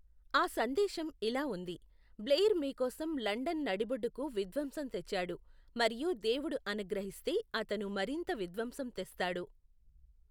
ఆ సందేశం ఇలా ఉంది, బ్లెయిర్ మీకోసం లండన్ నడిబొడ్డుకు విధ్వంసం తెచ్చాడు మరియు దేవుడు అనుగ్రహిస్తే అతను మరింత విధ్వంసం తెస్తాడు.